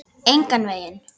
Engan veginn.